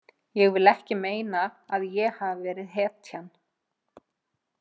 Ég vil ekki meina að ég hafi verið hetjan.